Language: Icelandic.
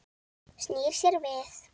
Snýr sér við.